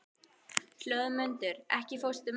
Hlöðmundur, ekki fórstu með þeim?